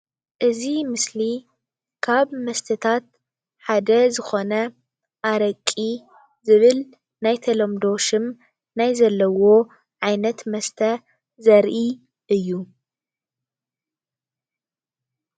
እዚ ምስሊ ካብ ኣልኮላዊ መስተታት ሓደ ዝኮነ ኣረቂ ብዝብል ናይ ተለምዶ ሹም ናይ ዝፅዋዕ ኣካል መስተ ዘርኢ እዩ ::